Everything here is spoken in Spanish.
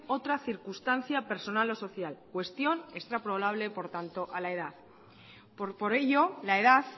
otra circunstancia personal o social cuestión extrapolable por tanto a la edad por ello la edad